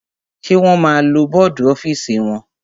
Wọ́n ma lo bọ́dù ọ́fìsì wọn.